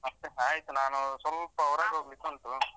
ಮತ್ತೆ ಆಯ್ತು ನಾನು ಸ್ವಲ್ಪ ಹೊರಗೆ ಹೋಗ್ಲಿಕ್ಕೆ ಉಂಟು.